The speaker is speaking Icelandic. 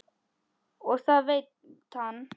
Og það veit hann.